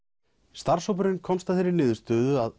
starfshópurinn komst að þeirri niðurstöðu að